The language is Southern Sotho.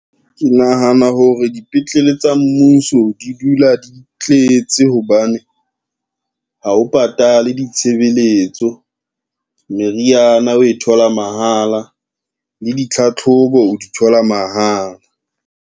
Ke nahana hore dipetlele tsa mmuso di dula di tletse hobane, ha o patale ditshebeletso, meriana o e thola mahala le ditlhatlhobo o di thola mahala.